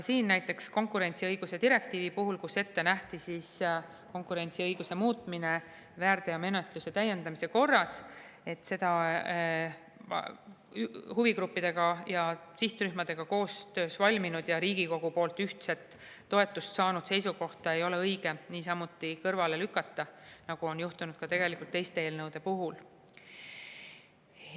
Näiteks konkurentsiõiguse direktiivi puhul, kus nähti ette konkurentsiõiguse muutmine väärteomenetluse täiendamise korras, et seda huvigruppide ja sihtrühmadega koostöös valminud ja Riigikogu poolt ühtse toetuse saanud seisukohta ei ole õige samamoodi kõrvale lükata, nagu on juhtunud teiste eelnõude puhul.